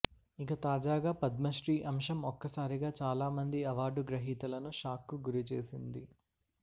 ఇక తాజాగా పద్మశ్రీ అంశం ఒక్కసారిగా చాలామంది అవార్డు గ్రహీతలను షాక్కు గురిచేసింది